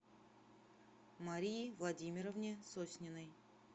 марии владимировне сосниной